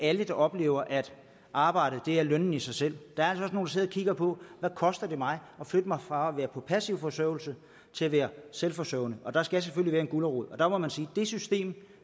alle der oplever at arbejdet er lønnen i sig selv der er altså også og kigger på hvad koster det mig at flytte mig fra at være på passiv forsørgelse til at være selvforsørgende der skal selvfølgelig være en gulerod og der må man sige det system